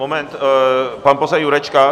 Moment, pan poslanec Jurečka.